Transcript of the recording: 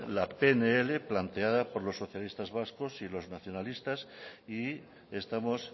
la pnl planteada por los socialistas vascos y los nacionalistas y estamos